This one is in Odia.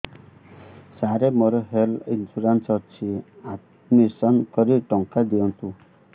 ସାର ମୋର ହେଲ୍ଥ ଇନ୍ସୁରେନ୍ସ ଅଛି ଆଡ୍ମିଶନ କରି ଟଙ୍କା ଦିଅନ୍ତୁ